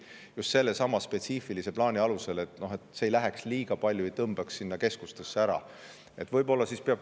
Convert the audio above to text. Just sellesama spetsiifilise plaani alusel, et see liiga palju ei tõmbaks keskustesse ära.